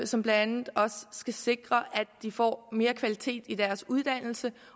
som blandt andet også skal sikre at de får mere kvalitet i deres uddannelse